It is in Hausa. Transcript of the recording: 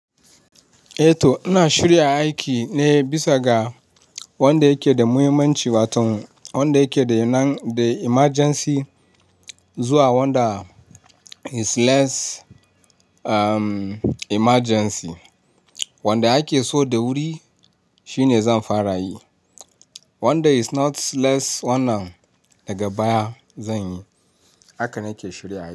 Eh to ina shirya aiki ne bisa ga wanda yake da muhimmanci, wato wanda yake da yanayi the emergency zuwa wanda is less um emergency. Wanda ake so da wuri shine zan fara yi. Wanda is not less wannan daga baya zan yi. Haka nake shirya aiki.